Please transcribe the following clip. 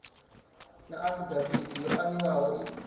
na afidaviti yo aniwaho i